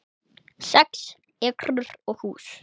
Sex ekrur og hús